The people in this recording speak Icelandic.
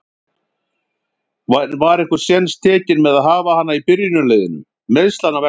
En var einhver séns tekinn með að hafa hana í byrjunarliðinu, meiðslanna vegna?